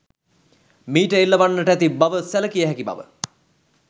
මීට එල්ලවන්නට ඇති බව සැළකිය හැකි බව